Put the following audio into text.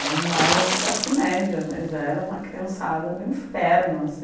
Era um bairro de classe média, mas era uma criançada do inferno assim.